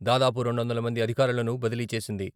దాదాపు రెండువందల మంది అధికారులను బదిలీ చేసింది.